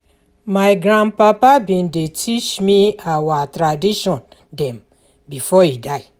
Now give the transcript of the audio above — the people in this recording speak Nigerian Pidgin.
My grandpapa bin dey teach me our tradition dem before e die.